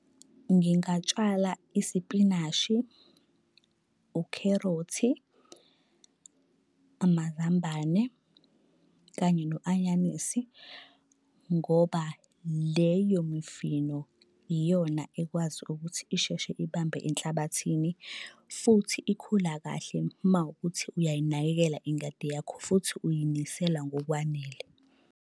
Ngingatshala isipinashi, ukherothi, amazambane kanye no-anyanisi ngoba leyo mifino iyona ekwazi ukuthi isheshe ibambe enhlabathini. Futhi ikhula kahle mawukuthi uyayinakekela ingadi yakho futhi uyinisele ngokwanele.